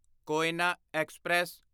Koyna express